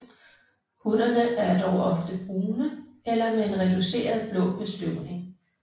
Hunnerne er dog ofte brune eller med en reduceret blå bestøvning